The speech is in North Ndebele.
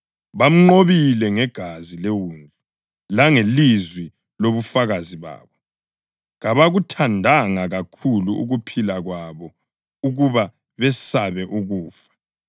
Bamnqobile ngegazi leWundlu langelizwi lobufakazi babo; kabakuthandanga kakhulu ukuphila kwabo ukuba besabe ukufa.